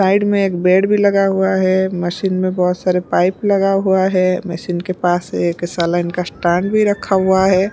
Side में एक bed भी लगा हुआ है मशीन में बहोत सारे पाइप लगा हुआ है मशीन के पास एक सालाइन का स्टैंक भी रखा हुआ है।